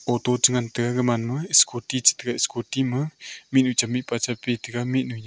photo cha ngan taga gaman ma scooty chata ga scooty ma mihnyu cham mihpa cha pi taga mihnu nya--